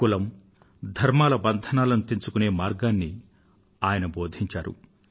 కులం ధర్మాల బంధనాలను తెంచుకొనే మార్గాన్ని ఆయన బోధించారు